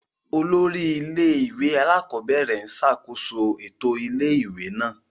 Olórí ilé-ìwé alákọ̀ọ́bẹ̀rẹ̀ ń ṣàkóso ètò ilé-ìwé náà.